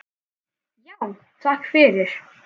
Já, takk fyrir.